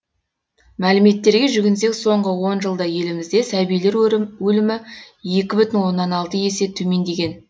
мәліметтерге жүгінсек соңғы он жылда елімізде сәбилер өлімі екі бүтін оннан алты есе төмендеген